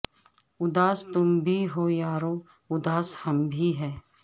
اداس تم بھی ہو یارو اداس ہم بھی ہیں